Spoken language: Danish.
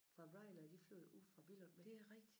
Fra RyanAir de flyver jo ude fra Billund med dem